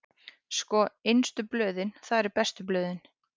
Sko, innstu blöðin, það eru bestu blöðin.